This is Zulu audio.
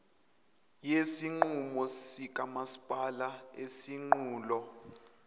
yesinqumo sikamasipala isinqulo